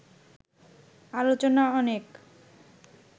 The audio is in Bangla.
আলোচনা অনেক